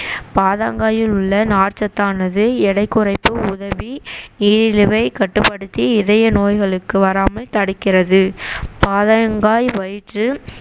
பயத்தங்காயில் உள்ள நார்ச்சத்தானது எடை குறைக்க உதவி நீரிழுவை கட்டுப்படுத்தி இதய நோய்களுக்கு வராமல் தடுக்கிறது பயத்தங்காய் வயிற்று